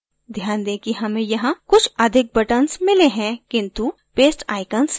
ध्यान दें कि हमें यहाँ कुछ अधिक buttons मिले हैं किंतु paste icons नहीं मिला